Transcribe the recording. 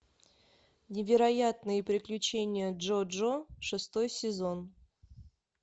невероятные приключения джоджо шестой сезон